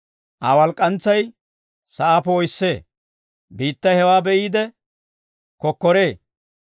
Aa walk'k'antsay sa'aa poo'issee; biittay hewaa be'iide kokkoree.